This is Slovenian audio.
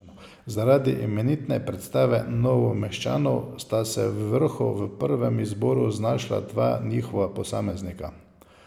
Zaradi imenitne predstave Novomeščanov sta se v vrhu v prvem izboru znašla dva njihova posameznika.